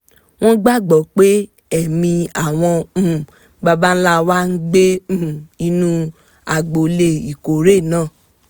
wọ́n gbà gbọ́ pé ẹ̀mí àwọn um baba ńlá wọn ń gbé um inú agbolé ìkórè náà